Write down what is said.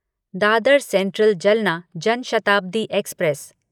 Dadar central Jalna Jan Shatabdi express